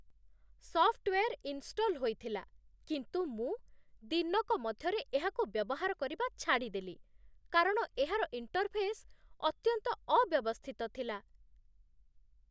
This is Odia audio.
ସଫ୍ଟ୍‌ୱେର୍ ଇନ୍‌ଶ୍ଟଲ୍ ହୋଇଥିଲା, କିନ୍ତୁ ମୁଁ ଦିନକ ମଧ୍ୟରେ ଏହାକୁ ବ୍ୟବହାର କରିବା ଛାଡ଼ିଦେଲି କାରଣ ଏହାର ଇଣ୍ଟର୍‌ଫେସ୍ ଅତ୍ୟନ୍ତ ଅବ୍ୟବସ୍ଥିତ ଥିଲା